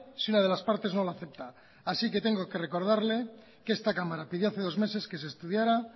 si una de las partes no la acepta así que tengo que recordarle que esta cámara pidió hace dos meses que se estudiara